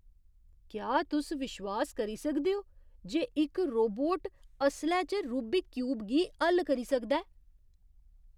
क्या तुस विश्वास करी सकदे ओ जे इक रोबोट असलै च रूबिक क्यूब गी हल करी सकदा ऐ?